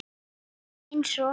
Hún talaði eins og